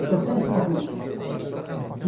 Estou sempre na rua.